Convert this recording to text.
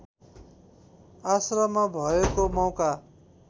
आश्रममा भएको मौका